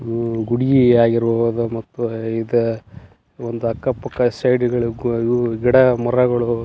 ಹ್ಮ್ಮ್ ಗುಡಿಯೇ ಆಗಿರ್ಬಹುದು ಮತ್ತು ಇದ ಅಕ್ಕ ಪಕ್ಕ ಸೈಡ್ ಗಳು ಇವು ಗಿಡ ಮರಗಳು --